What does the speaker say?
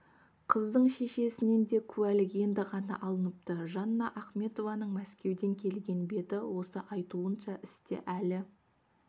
қыздың шешесінен де куәлік енді ғана алыныпты жанна ахметованың мәскеуден келген беті осы айтуынша істе әлі